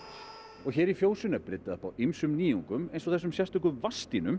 og hér í fjósinu er bryddað upp á ýmsum nýjungum eins og þessum